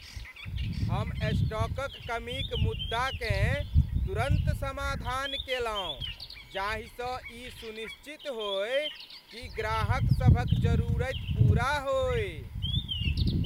हम स्टॉकक कमीक मुद्दाकेँ तुरन्त समाधान केलहुँ जाहिसँ ई सुनिश्चित होय कि ग्राहकसभक जरूरति पूरा होय।